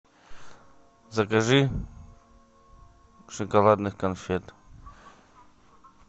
закажи шоколадных конфет